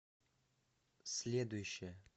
следующая